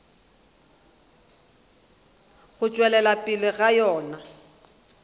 go tšwelela pele ga yona